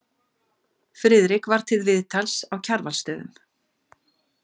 Friðrik var til viðtals á Kjarvalsstöðum.